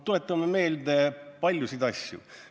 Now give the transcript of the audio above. Tuletagem meelde paljusid asju.